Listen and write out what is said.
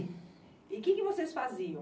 E o que vocês faziam?